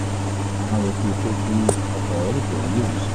a ń retí pé kí ọkọ rẹ tètè rí ìwòsàn